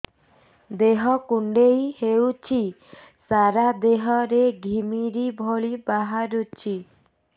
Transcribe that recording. ଦେହ କୁଣ୍ଡେଇ ହେଉଛି ସାରା ଦେହ ରେ ଘିମିରି ଭଳି ବାହାରୁଛି